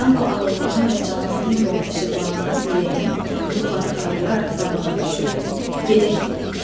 Danko alovlanan və camaatın yolunu işıqlandıran ürəyini yuxarı qaldıraraq qabağa düşüb, gedək dedi.